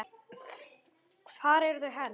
Hvar eru þau helst?